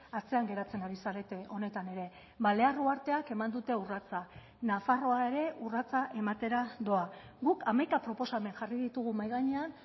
atzean geratzen ari zarete honetan ere balear uharteak eman dute urratsa nafarroa ere urratsa ematera doa guk hamaika proposamen jarri ditugu mahai gainean